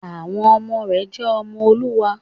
Àwọn ọmọ rẹ̀ jẹ́ ọmọ Olúwa